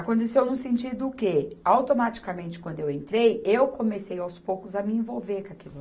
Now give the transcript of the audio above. Aconteceu no sentido que, automaticamente, quando eu entrei, eu comecei aos poucos a me envolver com aquilo lá.